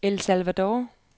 El Salvador